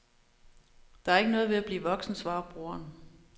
Der er ikke noget ved at blive voksen, svarer broderen.